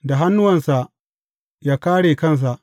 Da hannuwansa ya kāre kansa.